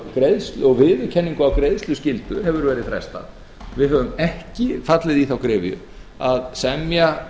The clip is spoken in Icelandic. á málum og viðurkenningu á greiðsluskyldu hefur verið frestað við höfum ekki fallið í þá gryfju að semja